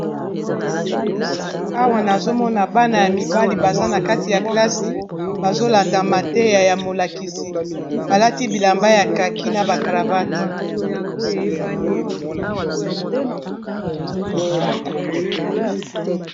Awa nazomona bana ya mibali baza na kati ya klasi bazolanda mateya ya molakisi balati bilamba ya kaki na ba cravate.